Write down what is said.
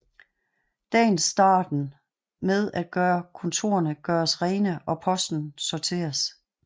Dagen starten med at kontorene gøres rene og posten sorteres